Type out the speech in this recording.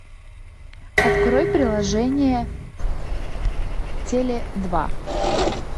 открой приложение теле два